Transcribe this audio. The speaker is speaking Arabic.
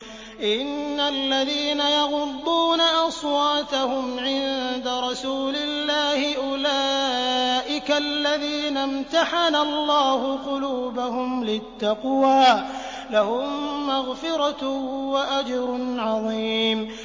إِنَّ الَّذِينَ يَغُضُّونَ أَصْوَاتَهُمْ عِندَ رَسُولِ اللَّهِ أُولَٰئِكَ الَّذِينَ امْتَحَنَ اللَّهُ قُلُوبَهُمْ لِلتَّقْوَىٰ ۚ لَهُم مَّغْفِرَةٌ وَأَجْرٌ عَظِيمٌ